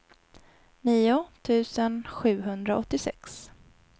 nio tusen sjuhundraåttiosex